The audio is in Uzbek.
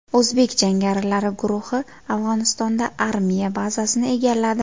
O‘zbek jangarilari guruhi Afg‘onistonda armiya bazasini egalladi.